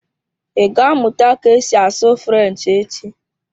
Ị ga-amụta ka esi asụ French echi?